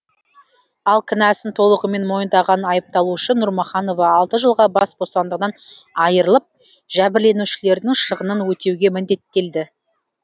ал кінәсін толығымен мойнындаған айыпталушы нұрмұханова алты жылға бас бостандығынан айырылып жәбірленушілердің шығынын өтеуге міндеттелді